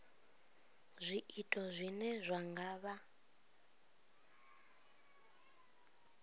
zwiito zwine zwa nga vha